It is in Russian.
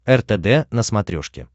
ртд на смотрешке